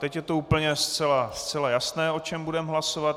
Teď je to úplně zcela jasné, o čem budeme hlasovat.